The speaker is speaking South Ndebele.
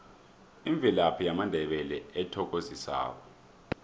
imvelaphi yamandebele ethokozisako